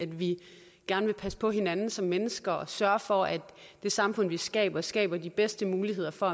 vi gerne vil passe på hinanden som mennesker og sørge for at det samfund vi skaber skaber de bedste muligheder for